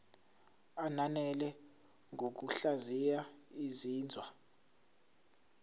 ananele ngokuhlaziya izinzwa